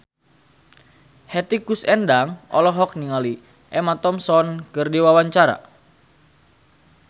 Hetty Koes Endang olohok ningali Emma Thompson keur diwawancara